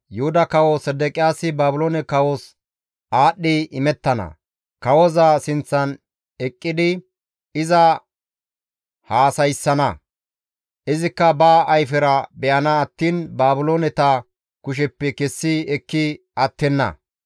Yuhuda kawo Sedeqiyaasi Baabiloone kawos aadhdhi imettana; kawoza sinththan eqqidi iza haasayssana; izikka ba ayfera be7ana attiin Baabilooneta kusheppe kessi ekki attenna.